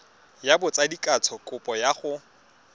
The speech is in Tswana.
ya botsadikatsho kopo ya go